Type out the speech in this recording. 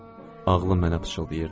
Ağlım mənə pıçıldayırdı.